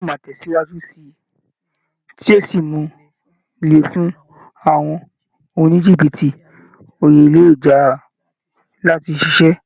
Ìmọ̀ ẹ̀rọ yóò máa tẹ̀síwájú síi, tí yí ó sì mú un le fún àwọn oníjìbìtì orí ayélujára láti ṣiṣẹ́.